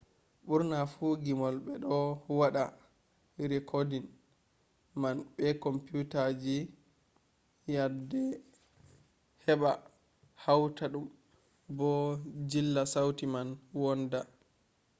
burna fu gimol be do wada rikoodin man be kompuutaji nyadde heba hauta dum bo jilla sauti man wonnda